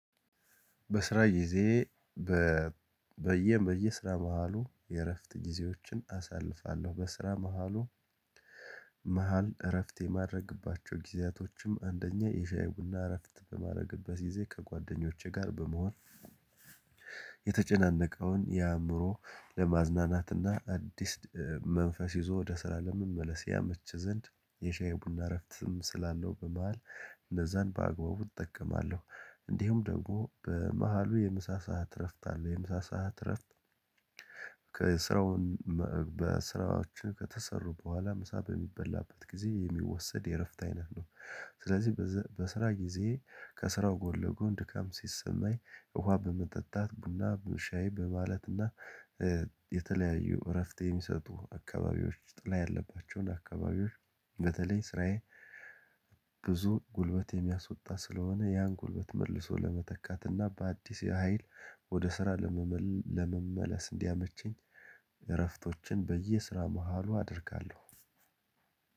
በስራ ጊዜ በየ በየስራ መሃሉ የእረፍት ጊዜዎችን አሳልፋለሁ በስራ መሃሉ መሃል እረፍት የማድረግባቸው ጊዜያቶችም አንደኛ የሻይ ቡና እረፍት በማድረግበት ጊዜ ከጓደኞቼ ጋር በመሆን የተጨናነቀውን የአእምሮ ለማዝናናትና አዲስ መንፈስ ይዞ ወደ ስራ ለመመለስ ያመች ዘንድ የሻይ ቡና እረፍትም ስላለው በመሃል እንደዛን በአግባቡ እጠቀማለሁ። እንዲሁም ደግሞ በመሃሉ የምሳ ሰዓት እረፍት አለው የምሳ ሰዓት እረፍት ከስራውን በስራዎች ከተሰሩ በኋላ ምሳ በሚበላበት ጊዜ የሚወሰድ የእረፍት አይነት ነው። የተጨናነቀውን የአእምሮ ለማዝናናትና አዲስ መንፈስ ይዞ ወደ ስራ ለመመለስ ያመች ዘንድ የሻይ ቡና እረፍትም ስላለው በመሃል እንደዛን በአግባቡ እጠቀማለሁ። እንዲሁም ደግሞ በመሃሉ የምሳ ሰዓት እረፍት አለው የምሳ ሰዓት እረፍት ከስራውን በስራዎች ከተሰሩ በኋላ ምሳ በሚበላበት ጊዜ የሚወሰድ የእረፍት አይነት ነው። ስለዚህ በስራ ጊዜ ከስራው ጎልጎን ድካም ሲሰማኝ ውሃ በመጠጣት ቡና በመሻይ በማለትና የተለያዩ እረፍት የሚሰጡ አካባቢዎች ጥላ ያለባቸውን አካባቢዎች በተለይ ስራዬ